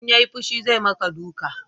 In ya yi fushi zai ma ka duka